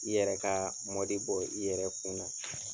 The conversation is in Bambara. I yɛrɛ ka mɔdi bɔ i yɛrɛ kun na.